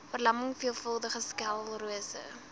verlamming veelvuldige sklerose